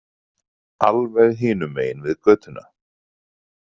Alveg hinum megin við götuna.